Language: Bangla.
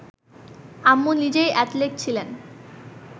আম্মু নিজেই অ্যাথলেট ছিলেন